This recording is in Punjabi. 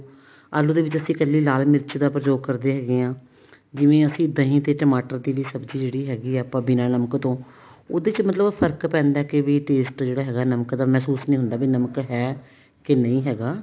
ਆਲੂ ਦੇ ਵਿੱਚ ਅਸੀਂ ਕੱਲੀ ਲਾਲ ਮਿਰਚ ਦਾ ਪ੍ਰਯੋਗ ਕਰਦੇ ਹੈਗੇ ਹਾਂ ਜਿਵੇਂ ਅਸੀਂ ਦਹੀ ਤੇ ਟਮਾਟਰ ਦੀ ਵੀ ਸਬਜੀ ਜਿਹੜੀ ਹੈਗੀ ਹੈ ਆਪਾਂ ਬਿਨਾ ਨਮਕ ਤੋਂ ਉਹਦੇ ਚ ਮਤਲਬ ਫਰਕ ਪੈਂਦਾ ਵੀ taste ਜਿਹੜਾ ਨਮਕ ਦਾ ਮਹਿਸੂਸ ਹੁੰਦਾ ਵੀ ਨਮਕ ਹੈ ਕੇ ਨਹੀਂ ਹੈਗਾ